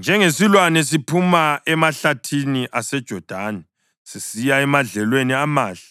“Njengesilwane siphuma emahlathini aseJodani sisiya emadlelweni amahle,